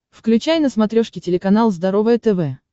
включай на смотрешке телеканал здоровое тв